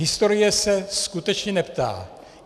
Historie se skutečně neptá.